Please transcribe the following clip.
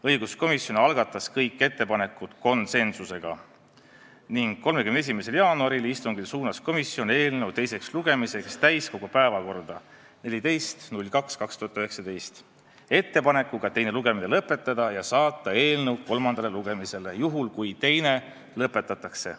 Õiguskomisjon arvestas kõiki ettepanekuid konsensusega ning 31. jaanuari istungil suunas komisjon eelnõu teisele lugemisele täiskogu päevakorda 14. veebruariks 2019 ettepanekuga teine lugemine lõpetada ja saata eelnõu kolmandale lugemisele, juhul kui teine lõpetatakse.